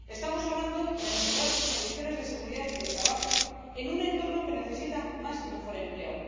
Estamos hablando de mejorar sus condiciones de seguridad y de trabajo en un entorno que necesita más y mejor empleo.